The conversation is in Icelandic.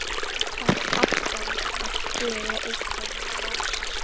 Þarf alltaf að gera einhverjar rósir.